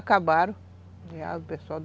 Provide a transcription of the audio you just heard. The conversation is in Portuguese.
Acabaram